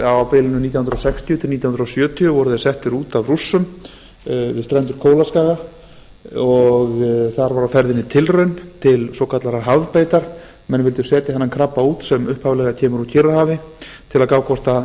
á bilinu nítján hundruð sextíu til nítján hundruð sjötíu voru þeir settir út af rússum við strendur kólaskaga þar var á ferðinni tilraun til svokallaðrar hafbeitar menn vildu setja þennan krabba út sem upphaflega kemur úr kyrrahafi til að gá hvort